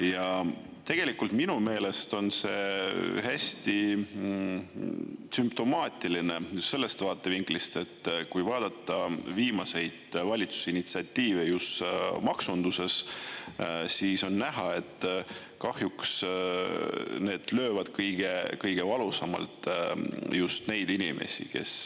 Ja tegelikult minu meelest on see hästi sümptomaatiline just sellest vaatevinklist, et kui vaadata viimaseid valitsuse initsiatiive just maksunduses, siis on näha, et kahjuks need löövad kõige valusamalt just neid inimesi, kes